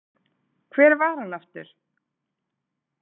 Hver var hann aftur?